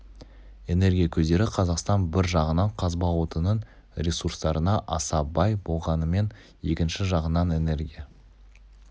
энергия көздері қазақстан бір жағынан қазба отынының ресурстарына аса бай болғанымен екінші жағынан энергия